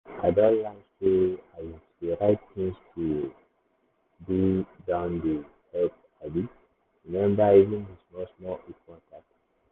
i don learn sey um to dey write things to um do down dey dey help um remember even the small-small important things.